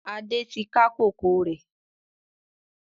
Adé tí ká kòkó rẹ